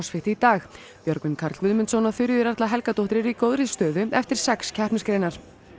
í dag Björgvin Karl Guðmundsson og Þuríður Erla Helgadóttir eru í góðri stöðu eftir sex keppnisgreinar